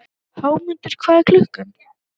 Hámundur, hvað er klukkan?